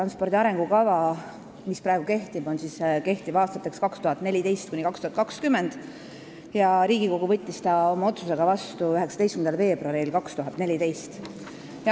See arengukava, mis praegu kehtib, on koostatud aastateks 2014–2020 ja Riigikogu võttis selle oma otsusega vastu 19. veebruaril 2014.